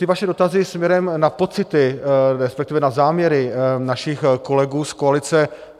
Ty vaše dotazy směrem na pocity, respektive na záměry našich kolegů z koalice...